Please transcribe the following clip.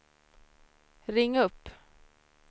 ring upp